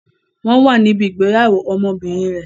Wọn wà níbí ìgbéyàwó ọmọbìnrin rẹ.